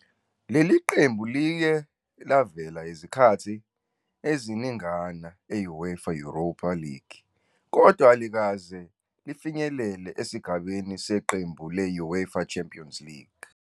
Leli qembu liye lavela izikhathi eziningana e-I-UEFA Europa League, kodwa alikaze lifinyelele esigabeni seqembu le-I-UEFA Champions League.